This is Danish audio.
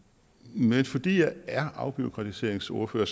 men fordi jeg er afbureaukratiseringsordfører